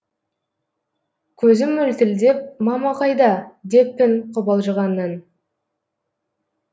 көзім мөлтілдеп мама қайда деппін қобалжығаннан